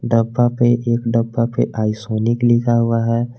डब्बा पे एक डब्बा पे आइसोलिक लिखा हुआ है।